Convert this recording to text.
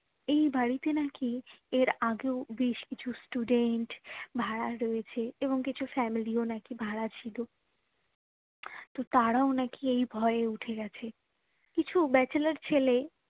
এই বাড়িতে নাকি এর আগেও বেশ কিছু student ভাড়া রয়েছে এবং কিছু family ও নাকি ভাড়া ছিল তো তারাও নাকি এই ভয়ে উঠে গেছে কিছু bachelor ছেলে